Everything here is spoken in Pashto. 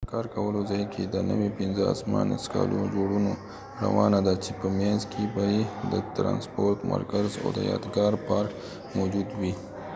د کار کولو ځای کې د نوي پنځه اسمان څکالو جوړونه روانه ده چې په مينځ کې به يې د ترانسپورت مرکز او د يادګار پارک موجود وي